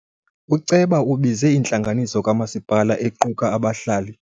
Uceba ubize intlanganiso kamasipala equka abahlali.